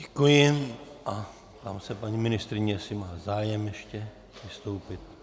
Děkuji a ptám se paní ministryně, jestli má zájem ještě vystoupit.